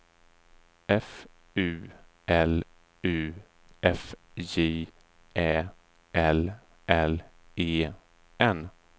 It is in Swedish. F U L U F J Ä L L E N